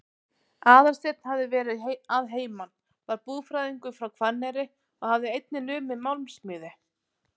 Aðalsteinn hafði verið að heiman, var búfræðingur frá Hvanneyri og hafði einnig numið málmsmíði.